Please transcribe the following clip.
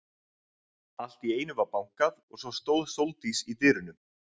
Allt í einu var bankað og svo stóð Sóldís í dyrunum.